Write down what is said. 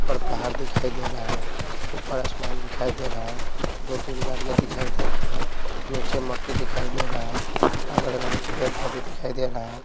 ऊपर पहाड़ दिखाई दे रहा है ऊपर आसमान दिखाई दे रहा है दो-तीन गाड़ियाँ दिखाई दे रहे है नीचे मट्टी दिखाई दे रहा है अगर बगर पेड़-पौधे दिखाई दे रहा है।